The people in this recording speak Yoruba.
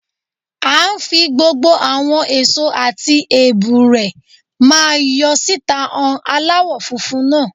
À ń́ fi gbogbo àwọn èso tí èbù rẹ̀ máa ń yọ síta han aláwọ̀ funfun náà.